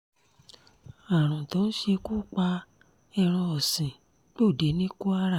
àrùn tó ń ṣekú pa ẹran ọ̀sìn gbòde ní kwara